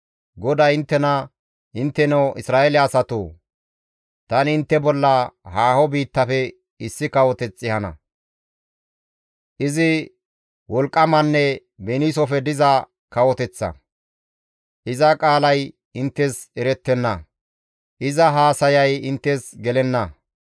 GODAY inttena, «Intteno Isra7eele asatoo! Tani intte bolla haaho biittafe issi kawoteth ehana. Izi wolqqamanne beniisofe diza kawoteththa. Iza qaalay inttes erettenna; iza haasayay inttes gelenna.